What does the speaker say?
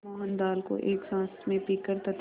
मोहन दाल को एक साँस में पीकर तथा